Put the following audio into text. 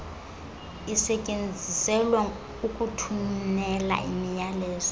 isetyenziselwa ukuthumela imiyalezo